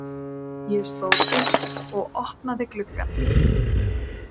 Ég stóð upp og opnaði gluggann.